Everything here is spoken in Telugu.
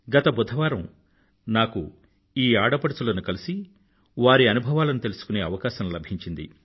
గత బుధవారం నాకు ఈ ఆడపడుచులను కలిసి వారి అనుభవాలను తెలుసుకునే అవకాశం లభించింది